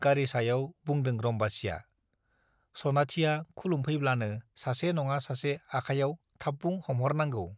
गारि सायाव बुंदों रम्बासीया , सनाथिया खुलुमफैब्लानो सासे नङा सासे आखायाव थामबुं हमह'रनांगौ ।